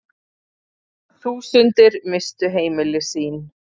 Þúsundir misstu heimili sín.